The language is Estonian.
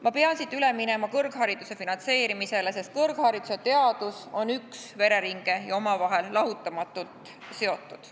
Ma pean siit üle minema kõrghariduse finantseerimisele, sest kõrgharidus ja teadus on üks vereringe ja omavahel lahutamatult seotud.